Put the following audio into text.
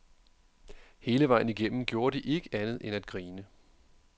Hele vejen igennem gjorde de ikke andet end at grine.